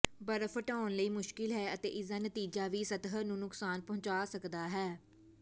ਬਰਫ਼ ਹਟਾਉਣ ਲਈ ਮੁਸ਼ਕਿਲ ਹੈ ਅਤੇ ਇਸਦਾ ਨਤੀਜਾ ਵੀ ਸਤਹ ਨੂੰ ਨੁਕਸਾਨ ਪਹੁੰਚਾ ਸਕਦਾ ਹੈ